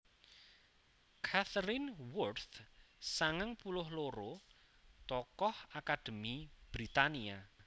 Katharine Worth sangang puluh loro tokoh akadémi Britania